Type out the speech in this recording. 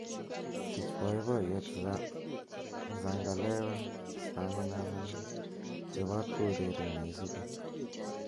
sich boiboiyet zangalewa staminamina chobot koureren neisubi